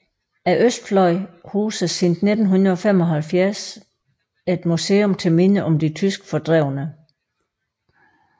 Østfløjen huser siden 1975 et museum til minde om de tyske fordrevne